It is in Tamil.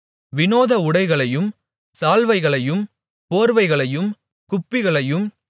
விநோத உடைகளையும் சால்வைகளையும் போர்வைகளையும் குப்பிகளையும்